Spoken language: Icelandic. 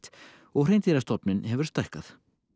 og hreindýrastofninn hefur stækkað